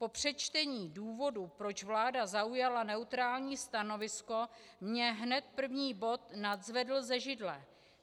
Po přečtení důvodů, proč vláda zaujala neutrální stanovisko, mě hned první bod nadzvedl ze židle.